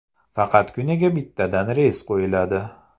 Faqat kuniga bittadan reys qo‘yiladi.